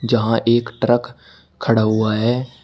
जहां एक ट्रक खड़ा हुआ है।